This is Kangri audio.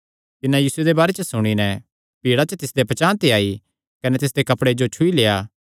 तिन्नै यीशुये दे बारे च सुणी नैं भीड़ा च तिसदे पचांह़ ते आई कने तिसदे कपड़े जो छुई लेआ